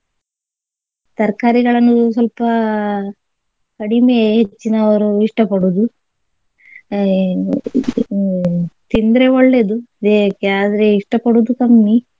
ತರಕಾರಿಗಳನ್ನು ಸ್ವಲ್ಪ ಕಡಿಮೆ ಹೆಚ್ಚಿನವರು ಇಷ್ಟ ಪಡುದು ಅಹ್ ಹ್ಮ್ ತಿಂದ್ರೆ ಒಳ್ಳೆದು ದೇಹಕ್ಕೆ ಆದ್ರೆ ಇಷ್ಟ ಪಡುದು ಕಮ್ಮಿ.